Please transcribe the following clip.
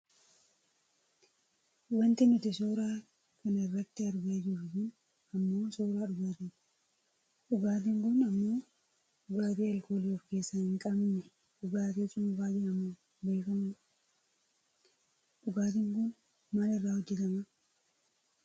Wanti nuti suura kana irratti argaa jirru kun ammoo suuraa dhugaatiiti. Dhugaatiin kun ammoo dhugaatii aalkoolii of keessaa hin qabne dhugaatii cuunfaa jedhamuun beekkamu dha. Dhugaatiin kun maal irraa hojjatama?